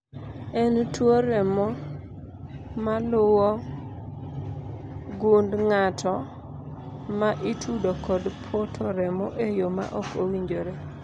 en tuo remo maluwo gund ng'ato ma itudo kod poto remo e yoo ma ok owinjore